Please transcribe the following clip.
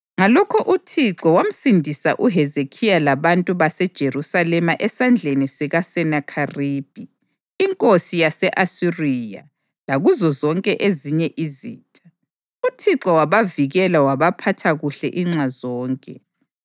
Ngalokho uThixo wamsindisa uHezekhiya labantu baseJerusalema esandleni sikaSenakheribhi inkosi yase-Asiriya lakuzo zonke ezinye izitha. UThixo wabavikela wabaphatha kuhle inxa zonke.